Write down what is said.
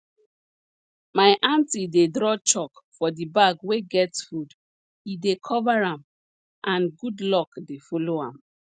my aunty dey draw chalk for di bag wey get food e dey cover am and good luck dey follow am